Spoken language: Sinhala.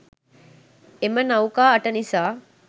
එම නෞකා අට නිසා